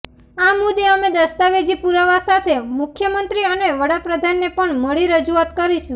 આ મુદ્દે અમે દસ્તાવેજી પુરાવા સાથે મુખ્યમંત્રી અને વડાપ્રધાનને પણ મળી રજૂઆત કરીશું